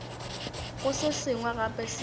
go se sengwe gape seo